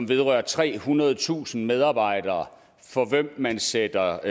vedrører trehundredetusind medarbejdere for hvem man sætter